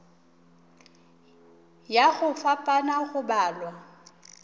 ya go fapana go balwa